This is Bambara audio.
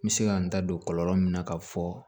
N bɛ se ka n da don kɔlɔlɔ min na k'a fɔ